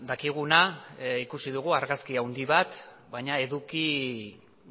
dakiguna ikusi dugu argazki handi bat baina eduki